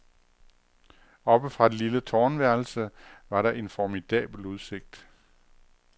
Oppe fra det lille tårnværelse var der en formidabel udsigt.